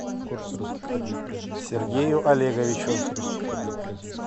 сергею олеговичу